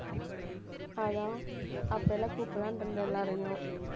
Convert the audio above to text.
அதான் அப்ப எல்லாம் கூப்பிடலாம்னு இருந்தேன் எல்லாரையும்